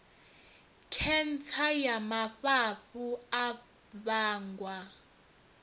khentsa ya mafhafhu a vhangwa